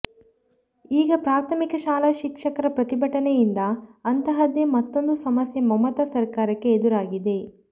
ಈಗ ಪ್ರಾಥಮಿಕ ಶಾಲಾ ಶಿಕ್ಷಕರ ಪ್ರತಿಭಟನೆಯಿಂದ ಅಂತಹದ್ದೆ ಮತ್ತೊಂದು ಸಮಸ್ಯೆ ಮಮತಾ ಸರ್ಕಾರಕ್ಕೆ ಎದುರಾಗಿದೆ